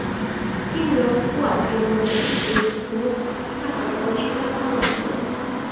Keyinroq Kuvayt Erondan o‘z elchisini chaqirib olishga qaror qildi .